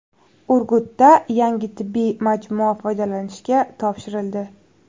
Urgutda yangi tibbiy majmua foydalanishga topshirildi.